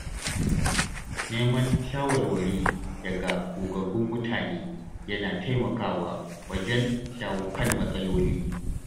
Neman shawarwari daga gogaggun mutane yana taimakawa wajen shawo kan matsaloli.